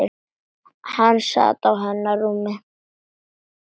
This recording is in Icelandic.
Hann sat á hennar rúmi!